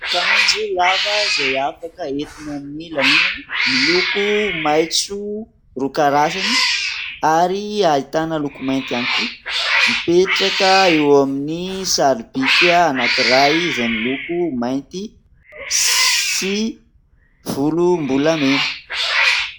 Akanjo lava izay afaka entina amin'ny lanonana miloko maitso roa karazany ary ahitana loko mainty ihany koa mipetraka eo amin'ny sary bika anankiray izay miloko mainty sy volom- bolamena.